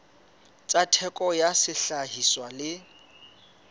tsa theko ya sehlahiswa le